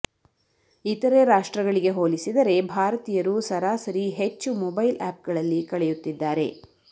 ಇತರೆ ರಾಷ್ಟ್ರಗಳಿಗೆ ಹೋಲಿಸಿದರೆ ಭಾರತೀಯರು ಸರಾಸರಿ ಹೆಚ್ಚು ಮೊಬೈಲ್ ಆಪ್ಗಳಲ್ಲಿ ಕಳೆಯುತ್ತಿದ್ದಾರೆ